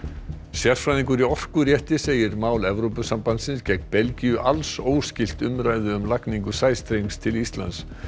sérfræðingur í segir mál Evrópusambandsins gegn Belgíu alls óskylt umræðu um lagningu sæstrengs til Íslands